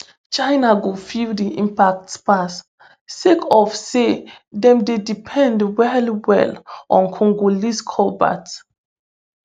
china go feel di impact pass sake of say dem dey depend wellwell on congolese cobalt